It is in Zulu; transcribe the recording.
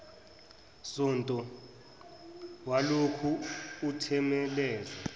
sonto walokhu uthemeleza